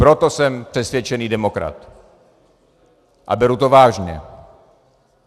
Proto jsem přesvědčený demokrat a beru to vážně.